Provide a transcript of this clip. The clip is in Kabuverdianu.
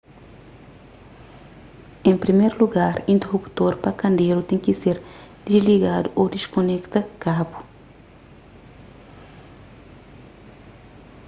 en priméru lugar interuptor pa kenderu ten ki ser disligadu ô diskonekta kabu